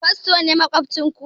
Fasto ne maƙwabcin ku?